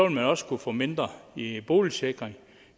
man også kunne få mindre i boligsikring